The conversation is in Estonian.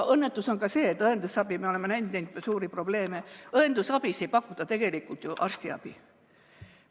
Õnnetus on ka see, et õendusabis, kus me oleme näinud suuri probleeme, ei pakuta tegelikult ju arstiabi.